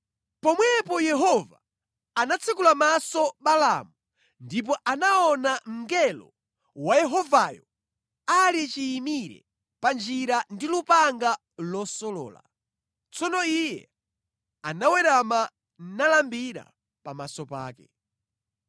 Pomwepo Yehova anatsekula maso Balaamu ndipo anaona mngelo wa Yehovayo ali chiyimire pa njira ndi lupanga losolola. Tsono iye anawerama nalambira pamaso pake.